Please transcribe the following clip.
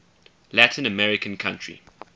latin american country